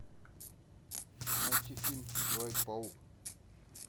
найти фильм человек паук